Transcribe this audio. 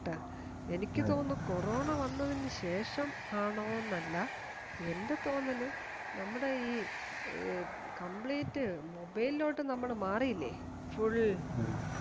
ഈ എനിക്കു തോന്നുന്നത് കൊറോണ വന്നതിനുശേഷം ആണോന്നല്ല എന്റെ തോന്നല് നമ്മുടെ ഈ complete mobile ലോട്ട് നമ്മൾ മാറിയില്ലേ full